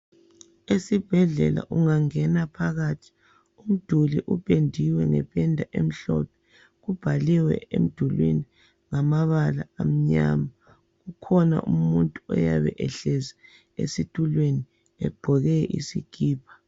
Esibhedlela ungangena phakathi umduli upendiwe ngependa emhlophe kubhaliwe emdulwini ngamabala amanyama kukhona umuntu oyabe ehlezi esitulweni egqoke isikipa.